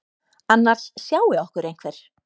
Annars sjái okkur einhver.